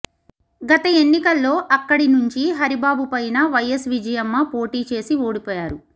గత ఎన్నికల్లో అక్కడి నుంచి హరిబాబు పైన వైయస్ విజయమ్మ పోటీ చేసి ఓడిపోయారు